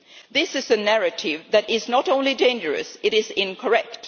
This is a narrative that is not only dangerous, it is incorrect.